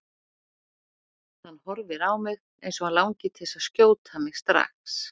Hann horfir á mig eins og hann langi til að skjóta mig strax.